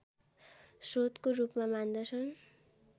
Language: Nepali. श्रोतको रूपमा मान्दछन्